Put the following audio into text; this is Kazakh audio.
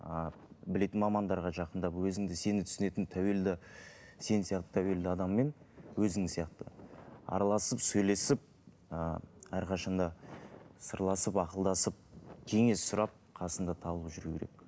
ыыы білетін мамандарға жақындап өзіңді сені түсінетін тәуелді сен сияқты тәуелді адаммен өзің сияқты араласып сөйлесіп ы әрқашан да сырласып ақылдасып кеңес сұрап қасында табылып жүру керек